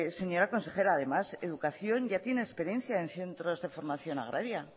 señora consejera además educación ya tiene experiencia en centros de formación agraria